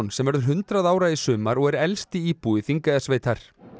sem verður hundrað ára í sumar og er elsti íbúi Þingeyjarsveitar